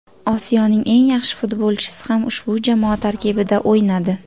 Osiyoning eng yaxshi futbolchisi ham ushbu jamoa tarkibida o‘ynadi.